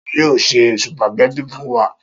Ta ni yóò se sùpàgẹ́tì fún wa?